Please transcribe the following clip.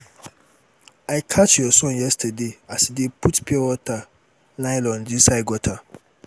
i catch your son yesterday as he dey put pure water nylon inside gutter